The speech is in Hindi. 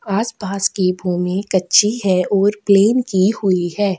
आसपास की भूमि कच्ची है और प्लेन की हुई हैं।